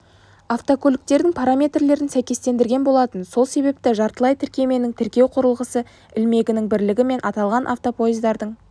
автокөліктердің параметрлерін сәйкестендірген болатын сол себепті жартылай тіркеменің тіркеу құрылғысы ілмегінің білігі мен аталған автопоездардың